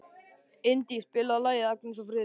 Indí, spilaðu lagið „Agnes og Friðrik“.